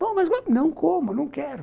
mas não como, não quero.